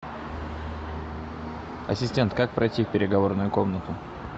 ассистент как пройти в переговорную комнату